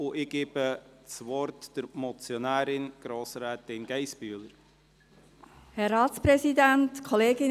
Ich gebe der Motionärin, Grossrätin Geissbühler, das Wort.